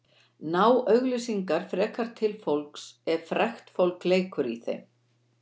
Ná auglýsingar frekar til fólks ef frægt fólk leikur í þeim?